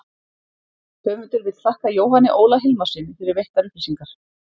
Höfundur vill þakka Jóhanni Óla Hilmarssyni fyrir veittar upplýsingar.